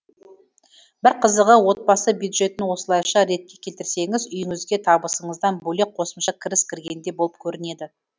бір қызығы отбасы бюджетін осылайша ретке келтірсеңіз үйіңізге табысыңыздан бөлек қосымша кіріс кіргендей болып көрінеді